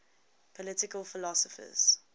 political philosophers